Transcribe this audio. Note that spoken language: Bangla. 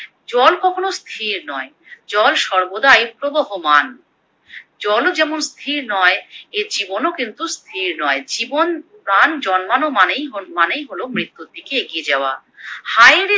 জল কখনো স্থির নয়, জল সর্বদাই প্রবহমান, জল ও যেমন স্থির নয় এ জীবন কিন্তু স্থির নয়, জীবন প্রাণ জন্মানো মানেই হল মানেই হলো মৃত্যুর দিকে এগিয়ে যাওয়া। হায়রে